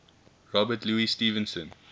robert louis stevenson